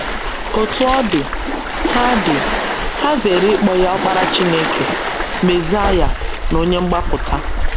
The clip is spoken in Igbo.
Otú ọ dị, ha dị, ha zeere ịkpọ ya Ọkpara Chineke, Mesaịa, na Onye Mgbapụta.